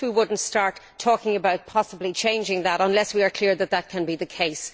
I wish we would not start talking about possibly changing that decision unless we are clear that can be the case.